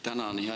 Tänan!